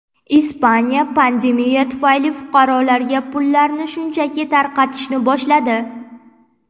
Ispaniya pandemiya tufayli fuqarolarga pullarni shunchaki tarqatishni boshladi.